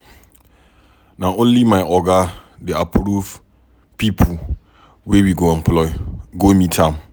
Na only my oga dey approve pipu wey we go employ, go meet am.